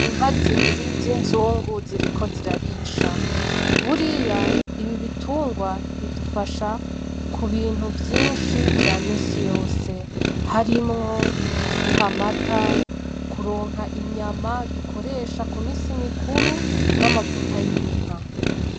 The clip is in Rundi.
Inka zibiri z'inzungu ziriko zirarisha. Buriya, ibi bitungwa bidufasha ku bintu vyinshi vya misi yose harimwo kuduha amata, kuronka inyama dukoresha ku misi mikuru n'amavuta y'inka.